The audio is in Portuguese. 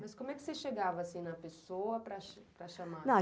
Mas como é que você chegava, assim, na pessoa para chamar?